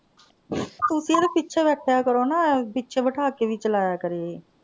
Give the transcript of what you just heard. ਤੁਸੀਂ ਇਹਦੇ ਪਿੱਛੇ ਬੈਠਿਆ ਕਰੋ ਨਾ ਪਿੱਛੇ ਬਿਠਾ ਕੇ ਵੀ ਚਲਾਇਆ ਕਰੇ ਇਹ।